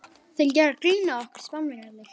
Þeir gera grín að okkur, Spánverjarnir!